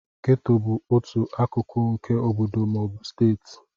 Gétò bụ otu akụkụ nke obodo ma ọ bụ steeti